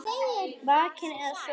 Vakinn eða sofinn.